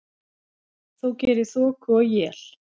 þó geri þoku og él.